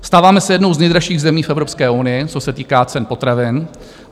Stáváme se jednou z nejdražších zemí v Evropské unii, co se týká cen potravin.